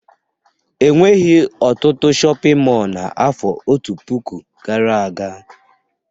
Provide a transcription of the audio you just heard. E nweghi ọtụtụ shọpịn mọọ n'afọ otu puku gara aga